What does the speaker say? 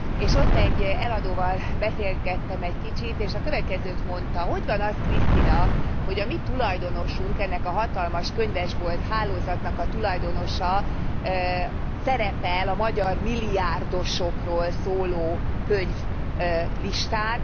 És ott egy eladóval beszélgettem egy kicsit, és a következőt mondta hogy van az Krisztina, hogy a mi tulajdonosunk, ennek a hatalmas könyvesbolt hálózatnak a tulajdonosa szerepel a magyar milliárdosokról szóló könyvlistán.